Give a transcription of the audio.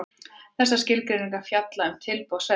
Þessar skilgreiningar fjalla um tilboð seljanda.